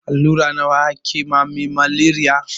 Allura nawa ake ma me maleriya?